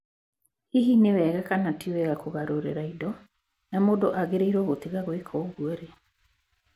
Hihi nĩ wega kana ti wega kũgarũrĩra indo, na mũndũ agĩrĩirũo gũtiga gwĩka ũguo rĩ?